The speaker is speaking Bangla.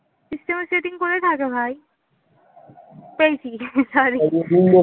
system এর setting কোথায় থাকে ভাই? পেয়েছি sorry